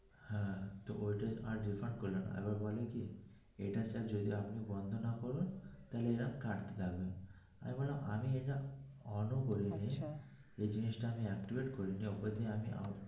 হ্যা ওটা আর refund করলোনা আর আর বলে কি এটার charge বন্ধ না করুন তাহলে এই রম কাটতে থাকবে আমি বললাম আমি এটা on ও করিনি যেই জিনিসটা আমি activate করিনি .